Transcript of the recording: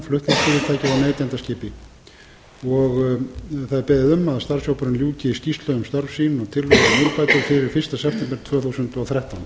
og neytenda skipi það er beðið um að starfshópurinn ljúki skýrslu um störf sín og tillögum um úrbætur fyrir fyrsta september tvö þúsund og þrettán